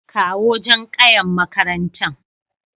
kawo Jan ƙayan maƙarantan.